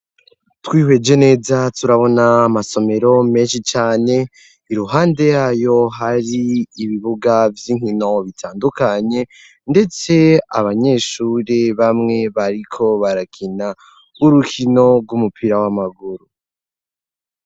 Twihweje neza turabona amasomero menshi cyane iruhande yayo hari ibibuga vy'inkino bitandukanye ndetse abanyeshuri bamwe bariko barakina urukino rw'umupira w'amaguru.